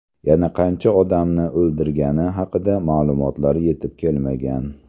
Yana qancha odamni o‘ldirgani haqida ma’lumotlar yetib kelmagan.